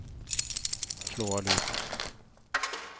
slå av lyden